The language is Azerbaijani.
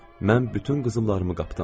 Mən bütün qızıllarımı qapdım.